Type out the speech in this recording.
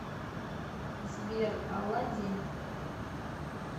сбер алладин